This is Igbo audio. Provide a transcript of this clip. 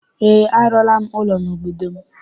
Eé, arụọla m ụlọ n'obodo m.